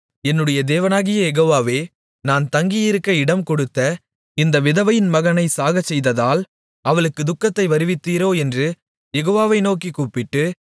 என்னுடைய தேவனாகிய யெகோவாவே நான் தங்கியிருக்க இடம்கொடுத்த இந்த விதவையின் மகனைச் சாகச்செய்ததால் அவளுக்குத் துக்கத்தை வருவித்தீரோ என்று யெகோவாவை நோக்கிக் கூப்பிட்டு